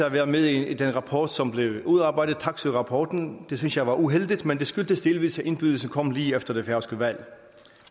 at være med i den rapport som blev udarbejdet taksøe rapporten det synes jeg var uheldigt men det skyldtes delvis at indbydelsen kom lige efter det færøske valg